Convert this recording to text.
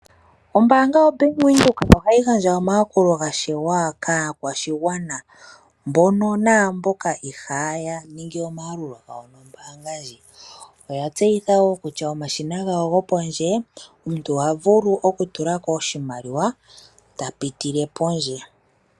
Ombaanga yoBank Windhoek ohayigandja omayakulo gashewa kaakwashigwana, mbono namboka iihayaningi omayalulo nombaanga ndjika, oyatseyitha wo kutya omuntu ohavulu okutula ko oshimaliwa tapitile kondje.